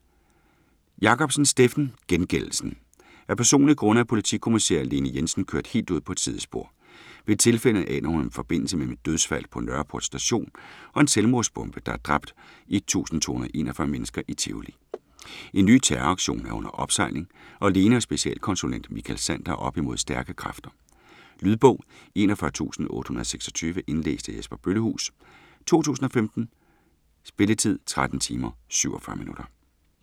Jacobsen, Steffen: Gengældelsen Af personlige grunde er politikommissær Lene Jensen kørt helt ud på et sidespor. Ved et tilfælde aner hun en forbindelse mellem et dødsfald på Nørreport Station og en selvmordsbombe, der har dræbt 1.241 mennesker i Tivoli. En ny terroraktion er under opsejling, og Lene og specialkonsulent Michael Sander er oppe mod stærke kræfter. Lydbog 41826 Indlæst af Jesper Bøllehuus, 2015. Spilletid: 13 timer, 47 minutter.